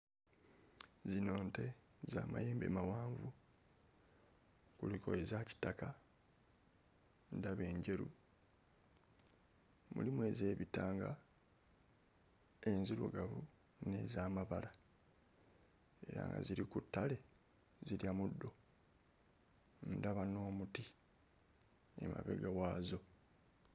Zino nte z'amayembe mawanvu kuliko eza kitaka, ndaba enjeru, mulimu ez'ebitanga, enzirugavu n'ez'amabala era nga ziri ku ttale zirya muddo.